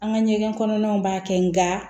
An ka ɲɛgɛn kɔnɔnaw b'a kɛ nka